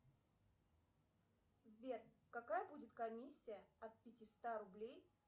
сбер какая будет комиссия от пятиста рублей